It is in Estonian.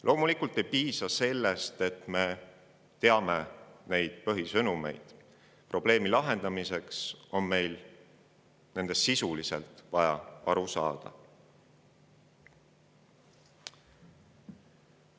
Loomulikult ei piisa sellest, et me neid põhisõnumeid teame, vaid probleemi lahendamiseks on meil vaja nendest sisuliselt aru saada.